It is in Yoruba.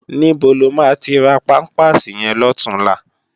Nibó ló má ti rá pàmpásí yèn lòtúnlá?